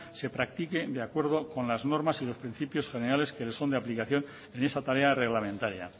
se practique de acuerdo con las normas y los principios generales que le son de aplicación en esa tarea reglamentaria